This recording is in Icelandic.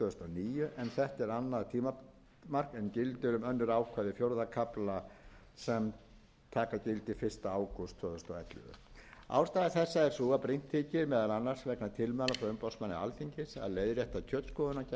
en gildir um önnur ákvæði fjórða kafla sem taka gildi fyrsta ágúst tvö þúsund og ellefu ástæða þessa er sú að brýnt þykir meðal annars vegna tilmæla frá umboðsmanni alþingis að leiðrétta kjötskoðunargjald þannig að greiddur sé raunkostnaður af eftirliti með öllum tegundum